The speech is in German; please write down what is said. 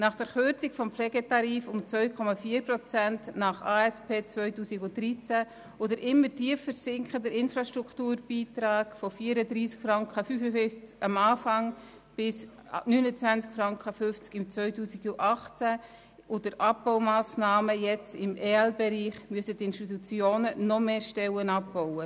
Nach der Kürzung des Pflegetarifs um 2,4 Prozent gemäss der Aufgaben- und Strukturüberprüfung (ASP) 2013 und den immer tiefer sinkenden Infrastrukturbeiträgen von 34,5 Franken zu Beginn auf 29,5 Franken im Jahr 2018 und den Abbaumassnahmen im EL-Bereich müssen die Institutionen noch mehr Stellen abbauen.